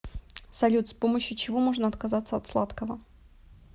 салют с помощью чего можно отказаться от сладкого